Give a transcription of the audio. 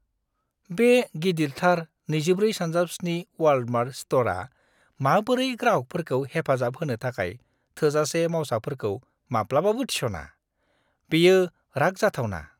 बे गिदिरथार 24x7 Walmart स्ट'रआ माबोरै ग्राहकफोरखौ हेफाजाब होनो थाखाय थोजासे मावसाफोरखौ माब्लाबाबो थिसना, बेयो राग जाथावना।